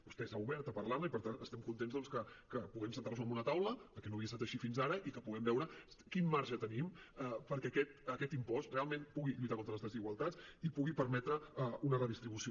vostè s’ha obert a parlar ne i per tant estem contents doncs que puguem asseure’ns a una taula perquè no havia estat així fins ara i que puguem veure quin marge tenim perquè aquest impost realment pugui lluitar contra les desigualtats i pugui permetre una redistribució